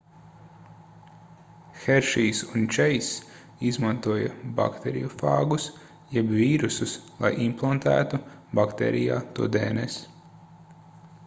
heršijs un čeiss izmantoja bakteriofāgus jeb vīrusus lai implantētu baktērijā to dns